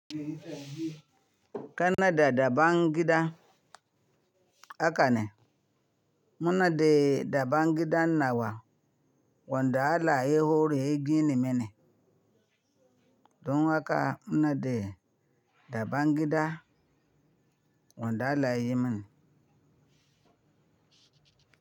Kanada dabangida haka ne. Muna dai dabangida nawa wanda allah ya hore ya gine mini. Don haka muna dai dabangida wanda allah yayi mini.